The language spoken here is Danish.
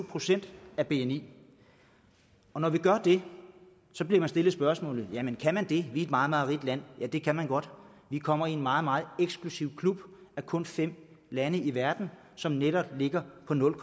procent af bni når vi gør det bliver vi stillet spørgsmålet jamen kan man det for er et meget meget rigt land ja det kan man godt vi kommer i en meget meget eksklusiv klub af kun fem lande i verden som netop ligger på nul